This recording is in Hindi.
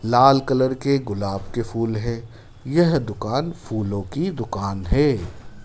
लाल कलर के गुलाब के फूल है यह दुकान फूलों की दुकान है।